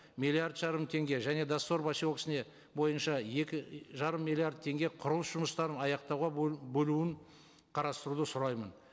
миллиард жарым теңге және доссор поселкесіне бойынша екі жарым миллиард теңге құрылыс жұмыстарын аяқтауға бөлуін қарастыруды сұраймын